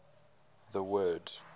the word